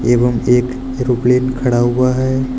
एवं एक एरोप्लेन खड़ा हुआ है।